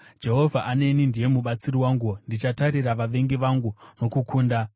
Jehovha aneni; ndiye mubatsiri wangu. Ndichatarira vavengi vangu nokukunda.